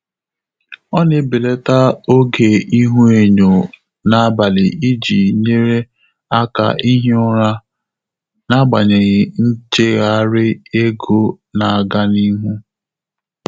Ọ́ nà-ébèlàtà ògé íhúényó n’ábàlị̀ ìjí nyéré áká íhí ụ́rà n’ágbànyéghị́ nchéghárị́ égo nà-ágá n’íhú.